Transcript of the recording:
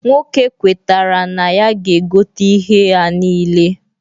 Nwoke kwetara na ya ga-egote ihea nile.